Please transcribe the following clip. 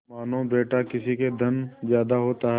मानाबेटा किसी के धन ज्यादा होता है